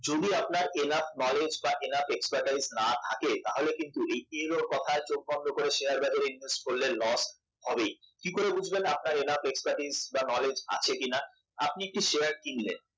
আর হ্যাঁ যদি আপনার enough knowledge বা enough expertise যদি না থাকে তাহলে কিন্তু এর ওর কথায় শেয়ার বাজারে invest করলে loss হবেই কি করে বুঝবেন আপনার enough knowledge বা expertise আছে কিনা আপনি একটা শেয়ার কিনলেন